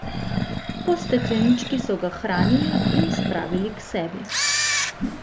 Po steklenički so ga hranili in spravili k sebi.